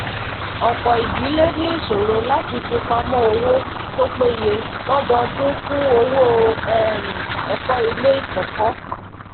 ọpọ idílé ní ìṣòro láti fipamọ owó tó péye lododun fún owó um ẹkọ ilé ikọkọ